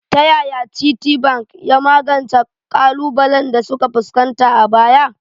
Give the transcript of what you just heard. Ta yaya Citibank ya magance ƙalubalen da suka fuskanta a baya?